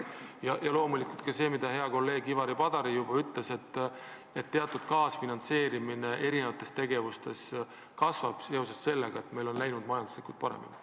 Ja loomulikult tuleb arvestada ka seda, mida hea kolleeg Ivari Padar juba ütles: et meie kaasfinantseerimine eri projektide puhul kasvab seoses sellega, et meie majandusel on paremini läinud.